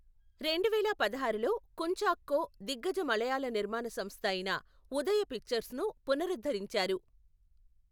రెండువేల పదహారులో కుంచాక్కో దిగ్గజ మలయాళ నిర్మాణ సంస్థ అయిన ఉదయ పిక్చర్స్ను పునరుద్ధరించారు.